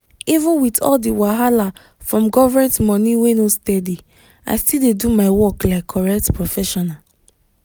even with all the wahala from government money wey no steady i still dey do my work like correct professional.